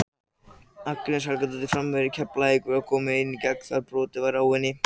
Agnes Helgadóttir framherji Keflavíkur var þá komin ein í gegn þegar brotið var á henni.